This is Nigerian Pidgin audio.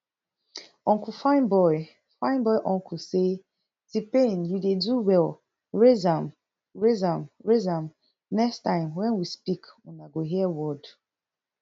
uncle fine boy fine boy uncle say tpain you dey do well raise am raise am raise am next time wen we speak una go hear word